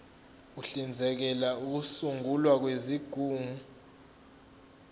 uhlinzekela ukusungulwa kwezigungu